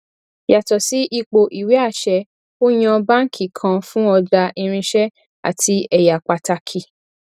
yàtò sí ipò ìwé àṣẹ ó yan báàǹkì kan fún ọjà irinṣẹ àti ẹyà pàtàkì